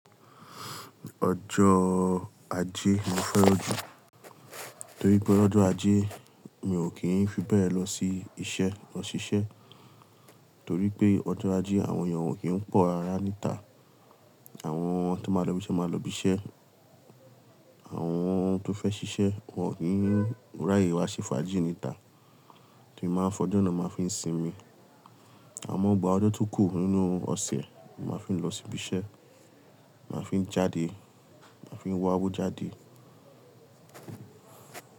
Ọjọ́ Ajé mo fẹ́ràn jù torí pé ọjọ́ Ajé mi ò kí ń fi bẹ́ẹ̀ lọ sí iṣẹ́, lọ ṣiṣẹ́ torí pé ọjọ́ Ajé àwọn èèyàn ò kí ń pọ̀ rárá níta àwọn tó máa lọ ibiṣẹ́ máa lọ ibiṣẹ́ àwọn tó fẹ́ ṣiṣẹ́ wọ́n ò kí ń ráyè wá ṣe fàájì níta, tí máa ń fọjo naà máa ń fi sinmi àmọ́ gbà ọjọ́ tó kù nínú ọ̀sẹ̀ máa fi lọ ṣíbí iṣẹ́, màá fi jáde, màá fi wá owó jáde.